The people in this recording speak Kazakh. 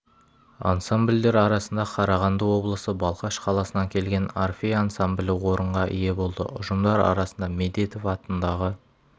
ансамбльдер арасында қарағанды облысы балқаш қаласынан келген орфей ансамблі орынға ие болды ұжымдар арасында медетов атындағы